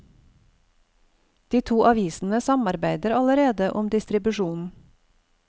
De to avisene samarbeider allerede om distribusjon.